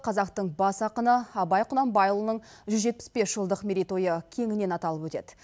қазақтың бас ақыны абай құнанбайұлының жүз жетпіс бес жылдық мерейтойы кеңінен аталып өтеді